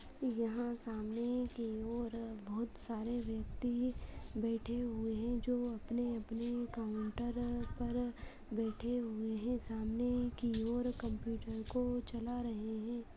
यहाँ सामने की ओर बहोत सारे व्यक्ति बैठे हुए हैं जो अपने-अपने काउंटर पर बैठे हुए हैं सामने की ओर कम्प्यूटर को चला रहे हैं।